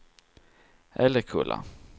Älekulla